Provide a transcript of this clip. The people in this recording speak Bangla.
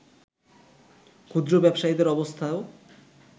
ক্ষুদ্র ব্যবসায়ীদের অবস্থাও